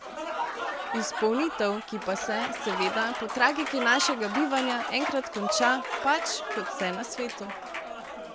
Izpolnitev, ki pa se, seveda, po tragiki našega bivanja, enkrat konča, pač, kot vse na svetu.